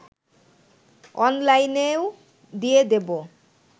অনলাইনেও দিয়ে দেব